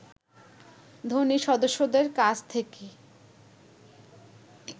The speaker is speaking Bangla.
ধনী সদস্যদের কাছ থেকে